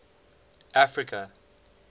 africa